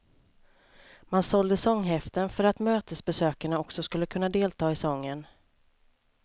Man sålde sånghäften för att mötesbesökarna också skulle kunna delta i sången.